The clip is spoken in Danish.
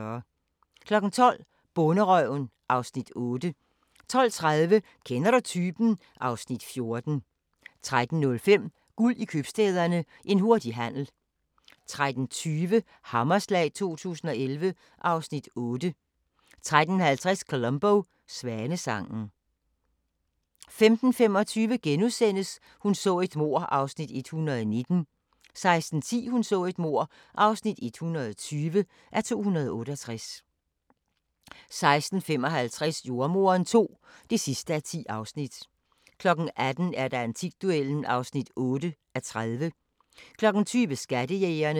12:00: Bonderøven (Afs. 8) 12:30: Kender du typen? (Afs. 14) 13:05: Guld i Købstæderne – en hurtig handel 13:20: Hammerslag 2011 (Afs. 8) 13:50: Columbo: Svanesangen 15:25: Hun så et mord (119:268)* 16:10: Hun så et mord (120:268) 16:55: Jordemoderen II (10:10) 18:00: Antikduellen (8:30) 20:00: Skattejægerne